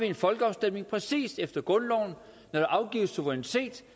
en folkeafstemning præcis efter grundloven når der afgives suverænitet